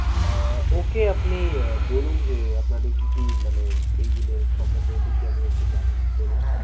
আহ okay আপনি আহ বলুন যে, আপনাদের কি কি মানে এইগুলোর সম্বন্ধে দেখি আমি একটু জানি, বলুন?